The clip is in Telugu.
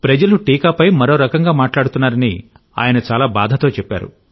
ప్రజలు టీకాపై మరో రకంగా మాట్లాడుతున్నారని ఆయన చాలా బాధతో చెప్పారు